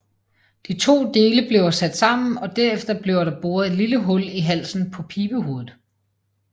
De to dele bliver sat sammen og derefter bliver der boret et lille hul i halsen på pibehovedet